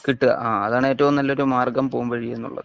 കിട്ടുക ആ അതാണ് ഏറ്റവും നല്ല ഒരു മാർഗം പോംവഴി എന്നുള്ളത്